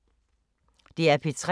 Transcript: DR P3